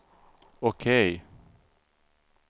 OK